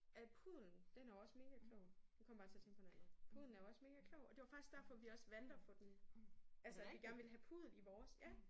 At puddelen den er jo også megaklog nu kom jeg bare til at tænke på noget andet. Puddelen er jo også megaklog og det var derfor vi også valgte at få den altså at vi gerne ville have puddel i vores ja